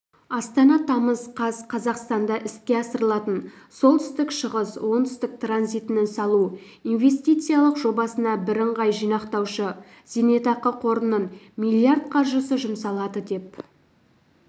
астана тамыз қаз қазақстанда іске асырылатын солтүстік-шығыс-оңтүстік транзитінің салу инвестициялық жобасына бірыңғай жинақтаушы зейнетақы қорының миллиард қаржысы жұмсалады деп